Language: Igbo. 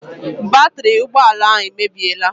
Batiri ụgbọala ahụ emebiela.